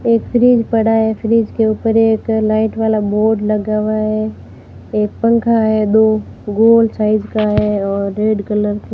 एक फ्रिज पड़ा है। फ्रिज के ऊपर एक लाइट वाला बोर्ड लगा हुआ है। एक पंखा है दो गोल साइज का है और रेड कलर --